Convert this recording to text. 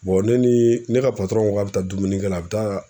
ne ni ne ka ko k'a bɛ taa dumunikɛ la a bɛ taa